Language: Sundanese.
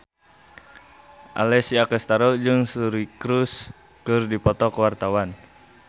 Alessia Cestaro jeung Suri Cruise keur dipoto ku wartawan